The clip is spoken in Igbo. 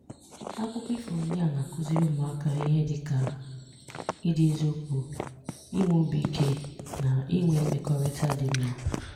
Àkụ́kọ́ ífọ́ ndị a na-akụ́zìrì ụmụ́àká íhè dịka ìdị n’ezíokwu, inwè òbí íké, na inwè mmekọ̀rịtà dị mma